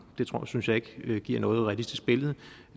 synes jeg ikke giver noget realistisk billede